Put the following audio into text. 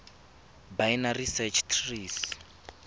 binary search trees